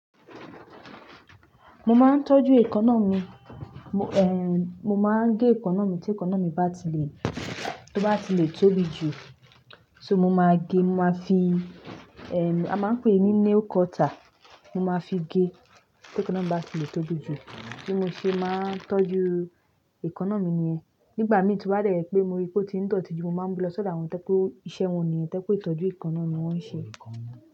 Mo máa ń tọ́jú èékánná mi. Mo, ehn, mo máa ń gé èékánná mi tí èékánná mi bá ti lè, tó bá ti lè tóbi jù, so mo máa gé, mo máa fi, ehn, a máa ń pè é ní nail cutter. Mo máa fi gé tí èékánná mi bá ti lè tóbi jù. Bí mo ṣe máa ń tọ́jú èékánná mi nìyẹn. Nígbà míi to ba de je pé mo rí pé ó ti ń dọ̀tí jù, mo máa ń mú lọ sọ́dọ̀ àwọn to je pe iṣẹ́ wọn nìyẹn, to je pé ìtọ́jú èékánná ni wọ́n ń ṣe.